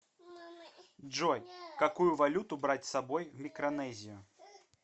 джой какую валюту брать с собой в микронезию